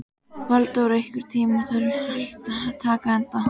Valdór, einhvern tímann þarf allt að taka enda.